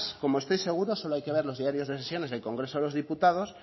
como estoy seguro solo hay que ver los diarios de sesiones del congreso de los diputados